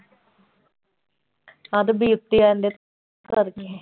ਤਦ ਬੀਅ ਉੱਤੇ ਆਉਂਦੇ ਕਰਦੇ।